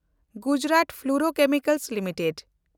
Gujarat fluorochemicals limited